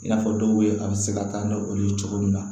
I n'a fɔ dɔw bɛ a bɛ se ka taa ni olu ye cogo min na